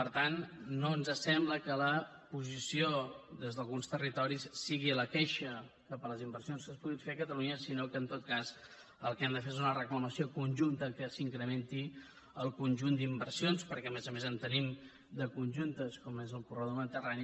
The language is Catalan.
per tant no ens sembla que la posició des d’alguns territoris hagi de ser la queixa cap a les inversions que es puguin fer a catalunya sinó que en tot cas el que han de fer és una reclamació conjunta perquè s’incrementi el conjunt d’inversions perquè a més a més en tenim de conjuntes com és el corredor mediterrani